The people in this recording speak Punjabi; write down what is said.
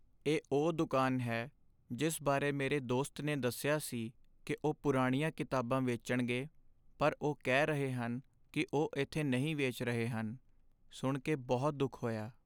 ਇਹ ਉਹ ਦੁਕਾਨ ਹੈ ਜਿਸ ਬਾਰੇ ਮੇਰੇ ਦੋਸਤ ਨੇ ਦੱਸਿਆ ਸੀ ਕਿ ਉਹ ਪੁਰਾਣੀਆਂ ਕਿਤਾਬਾਂ ਵੇਚਣਗੇ ਪਰ ਉਹ ਕਹਿ ਰਹੇ ਹਨ ਕਿ ਉਹ ਇੱਥੇ ਨਹੀਂ ਵੇਚ ਰਹੇ ਹਨ। ਸੁਣ ਕੇ ਬਹੁਤ ਦੁੱਖ ਹੋਇਆ।